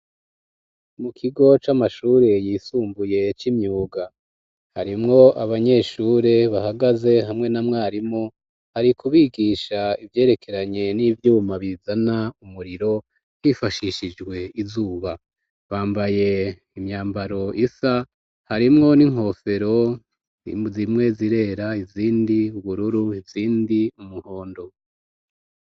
Mu kigo c'amashuri yisumbuye c'imyuga harimwo abanyeshuri bahagaze hamwe na mwarimu hari kubigisha ivyerekeranye n'ivyuma bizana umuriro bifashishijwe izuba bambaye imyambaro isa harimwo n'inkofero zimwe zirera, izindi bururu , izindi umuhondo.